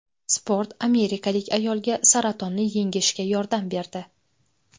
Sport amerikalik ayolga saratonni yengishga yordam berdi.